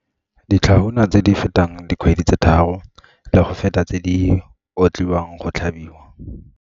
Ditlhahuna tse di fetang dikgwedi tse tharo le go feta tse di otliwang go tlhabiwa.